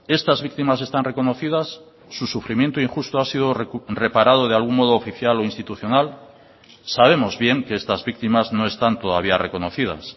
estas víctimas están reconocidas su sufrimiento injusto ha sido reparado de algún modo oficial o institucional sabemos bien que estas víctimas no están todavía reconocidas